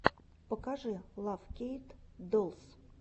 покажи лав кейт долс